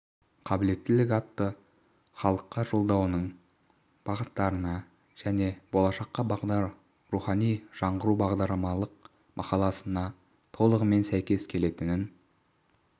қабілеттілік атты халыққа жолдауының бағыттарына және болашаққа бағдар рухани жаңғыру бағдарламалық мақаласына толығымен сәйкес келетінін